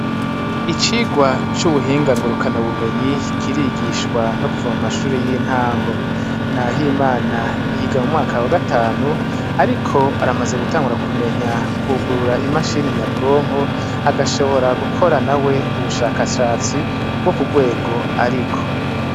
Icigwa c' ubuhinga ngurukanabumenyi kirigishwa no kuva mu mashure y' intango NAHIMANA yiga mu mwaka wa gatanu ariko aramaze gutangura kumenya kwugurura imashini nyabwonko agashobora gukora nawe ubushakashatsi bwo kugwego ariko.